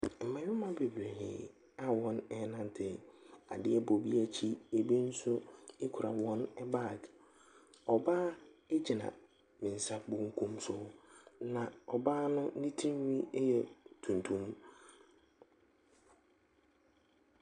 Mmarima bebree a wɔrenante. Adeɛ bɔ ebi akyi, ebi nso kura wɔn bag. Ɔbaa gyina me nsa benkum so, na ɔbaa no ne tirinwi yɛ tuntum.